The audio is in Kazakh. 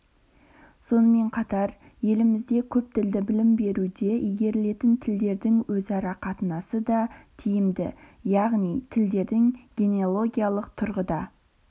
сонымен қатар елімізде көптілді білім беруде игерілетін тілдердің өзара қатынасы да тиімді яғни тілдердің генеологиялық тұрғыда